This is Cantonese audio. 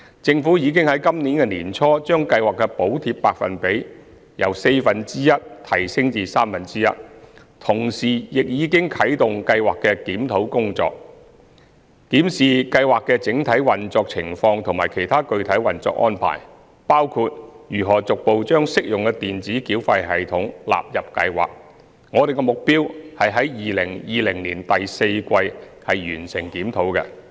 政府已於本年年初將計劃的補貼百分比由四分之一提升至三分之一，同時亦已經啟動計劃的檢討工作，檢視計劃的整體運作情況和其他具體運作安排。我們的目標是於2020年第四季完成檢討。